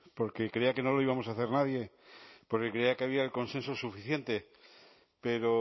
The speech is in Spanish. porque creía que no lo íbamos a hacer nadie porque creía que había el consenso suficiente pero